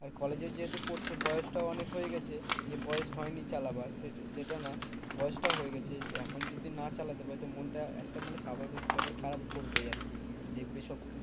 আর কলেজে যেহেতু পড়ছে বয়সটাও অনেক হয়ে গেছে। বয়স হয়নি চালাবার সেটা না বয়স টাও হয়ে গেছে। এখন যদি না চালাতে পারে তো মনটা একটা মানে স্বাভাবিক খারাপ করবেই আরকি। দেখবে সব